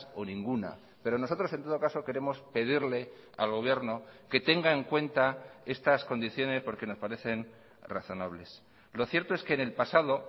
o ninguna pero nosotros en todo caso queremos pedirle al gobierno que tenga en cuenta estas condiciones porque nos parecen razonables lo cierto es que en el pasado